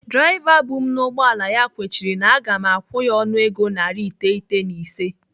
Draiva bụ m n'ụgbọala ya kwechiri na aga m akwụ ya ọnụego narị iteghete na ise